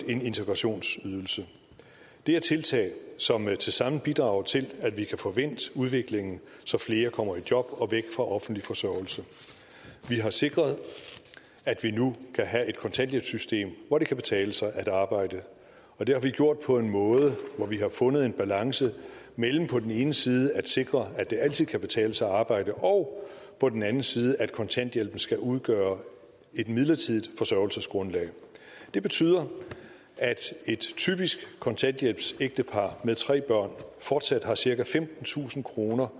en integrationsydelse det er tiltag som tilsammen bidrager til at vi kan få vendt udviklingen så flere kommer i job og væk fra offentlig forsørgelse vi har sikret at vi nu kan have et kontanthjælpssystem hvor det kan betale sig at arbejde og det har vi gjort på en måde hvor vi har fundet en balance mellem på den ene side at sikre at det altid kan betale sig at arbejde og på den anden side at kontanthjælpen skal udgøre et midlertidigt forsørgelsesgrundlag det betyder at et typisk kontanthjælpsægtepar med tre børn fortsat har cirka femtentusind kroner